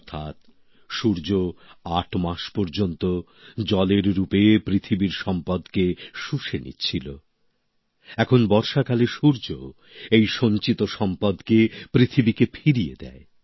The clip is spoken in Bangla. অর্থাৎ সূর্য আট মাস পর্যন্ত জলের রূপে পৃথিবীর সম্পদকে শুষে নিচ্ছিল এখন বর্ষাকালে সূর্য এই সঞ্চিত সম্পদকে পৃথিবীকে ফিরিয়ে দেয়